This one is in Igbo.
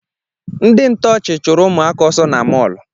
Ndị ntọọchị chụrụ ụmụaka ọsọ na mọlụ